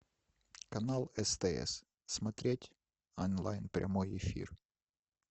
канал стс смотреть онлайн прямой эфир